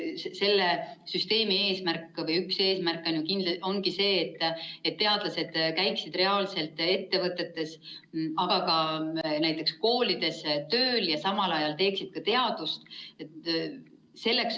Selle üks eesmärke ongi see, et teadlased käiksid ettevõtetes, aga ka näiteks koolides tööl ja samal ajal teeksid teadust.